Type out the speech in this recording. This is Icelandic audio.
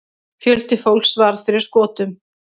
Fjöldi fólks varð fyrir skotum.